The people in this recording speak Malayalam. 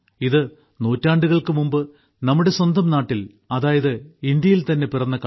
ഇത് നൂറ്റാണ്ടുകൾക്കു മുമ്പ് നമ്മുടെ സ്വന്തം നാട്ടിൽ അതായത് ഇന്ത്യയിൽ തന്നെ പിറന്ന കളിയാണ്